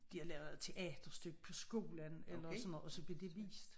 De havde lavet teaterstykke på skolen eller sådan noget og så blev det vist